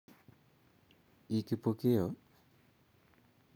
Ii Kipokeo?